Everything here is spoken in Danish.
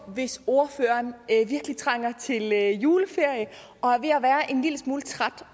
hvis ordføreren virkelig trænger til juleferie og er ved at være en lille smule træt